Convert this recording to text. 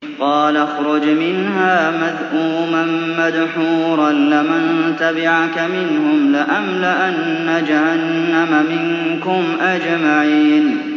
قَالَ اخْرُجْ مِنْهَا مَذْءُومًا مَّدْحُورًا ۖ لَّمَن تَبِعَكَ مِنْهُمْ لَأَمْلَأَنَّ جَهَنَّمَ مِنكُمْ أَجْمَعِينَ